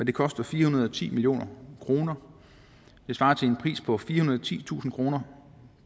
det koster fire hundrede og ti million kroner det svarer til en pris på firehundrede og titusind kroner